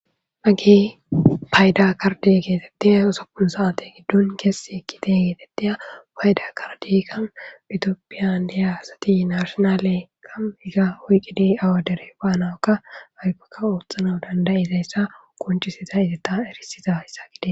mage payda karde geetetteya osopun saate giddon keessi ekkite geetetteya payda kardeyka itiopphiyan iyaasati narshonale kaiga oyqqidi awadere baanawakka aykokka ooththana dandayizayssa konchisiza itetta erisiza hayssa gide